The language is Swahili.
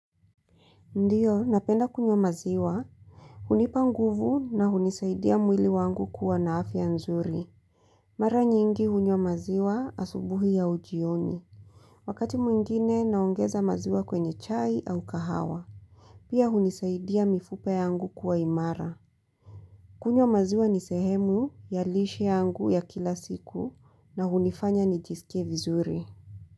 Ndiyo, napenda kunywa maziwa. Hunipa nguvu na hunisaidia mwili wangu kuwa na afya nzuri. Mara nyingi hunywa maziwa asubuhi au jioni. Wakati mwingine naongeza maziwa kwenye chai au kahawa. Pia hunisaidia mifupa yangu kuwa imara. Kunywa maziwa ni sehemu ya lishe yangu ya kila siku na hunifanya nijisikie vizuri.